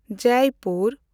Jaipur